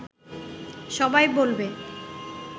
সবাই বলবে